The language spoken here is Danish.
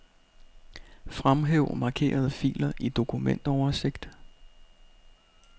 Fremhæv markerede filer i dokumentoversigt.